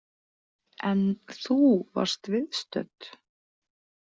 En þú varst viðstödd?